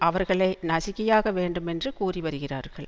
அவர்களை நசுக்கியாக வேண்டுமென்று கூறிவருகிறார்கள்